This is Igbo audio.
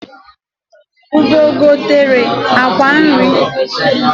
Ugo gotere akwa nri